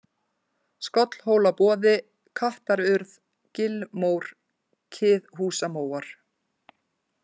Skollhólaboði, Kattarurð, Gilmór, Kiðhúsamóar